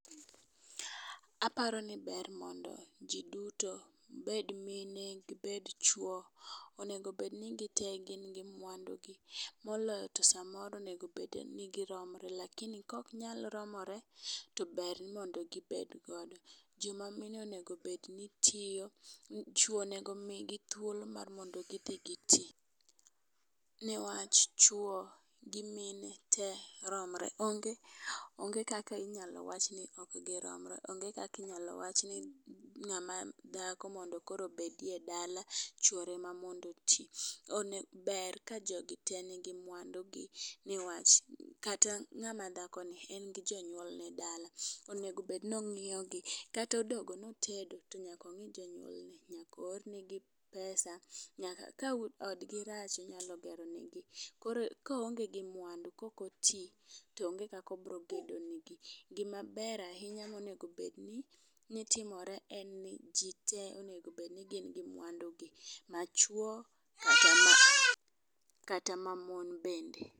Aparo ni ber mondo jii duto obed mine, obed chuo onego bed ni gite gin gi mwandu gi moloyo to samoro onego bed ni giromre, lakini kok nyal romore to ber mondo gibed godo. Jo mamine onego bed ni tiyo, chuo onego migi thuolo mar mondi gidhi gi tii newach, chuo gi mine tee romre. Onge onge kaki nyalo wach ni giromre onge kaki nyalo wach ni ngama dhako mondo bedie dala chuore ema mondo tii. Ber ka jogi tee nigi mwandu gi newach ng'ama dhako ni en gi jonyuol ne dala ongeo bed ni ong'iyo gi kata odogo notedo onego ng'i jonyuol gi oor ne gi pesa. Ka odgi rach onyalo gero ne gi koonge gi mwandu kok otii toonge kako bro gedo ne gi. Gimaber ahinya monego bed ni timore en ni jii tee onego bed ni gin gi mwadu gi machuo kata ma mon bende.